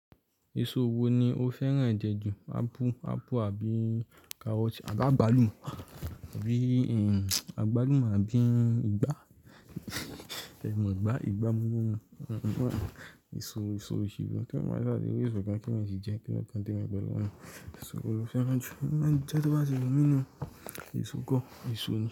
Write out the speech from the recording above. Èso wo ni o fẹ́ràn jù? Ápú, ápù àbí karọt? Àgbálùmú àbí àgbálùmú àbí ìgbá? Ẹ̀ mọ ìgbá, ìgbá mọ́ ni. Èso, èso òṣì wo, ti èèyàn ba ṣa ti ri èso kan ki èèyàn ti jẹ, kí lo kan temi pẹ̀lú yẹn. Èso wo lo fẹ́ràn jù, emi ma n jẹ to ba ti wu mi ni oo, èso kọ èso ni.